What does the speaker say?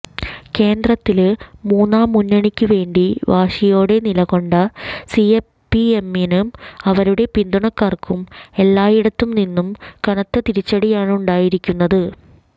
കേന്ദ്രത്തില് മൂന്നാം മുന്നണിക്കുവേണ്ടി വാശിയോടെ നിലകൊണ്ട സിപിഎമ്മിനും അവരുടെ പിന്തുണക്കാര്ക്കും എല്ലായിടത്തുനിന്നും കനത്ത തിരിച്ചടിയാണുണ്ടായിരിക്കുന്നത്